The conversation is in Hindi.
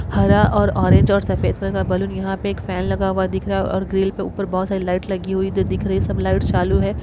हरा और ऑरेंज और सफ़ेद कलर का बलून यहां पे एक फैन लगा हुआ दिख रहा है और ग्रिल के ऊपर बोहत सारी लाइट लगी हुई जो दिख रही। सब लाइट्स चालू है।